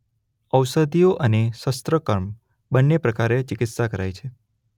ઔષધિઓ અને શસ્ત્રકર્મ બનેં પ્રકારે ચિકિત્સા કરાય છે.